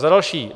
Za další.